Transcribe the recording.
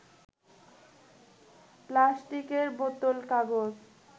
প্লাস্টিকের বোতল, কাগজ